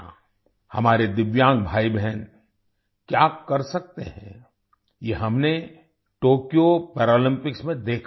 हमारे दिव्यांग भाईबहन क्या कर सकते हैं ये हमने टोक्यो पैरालम्पिक्स में देखा है